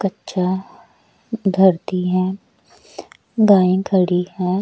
कच्चा धरती है गाय खड़ी है।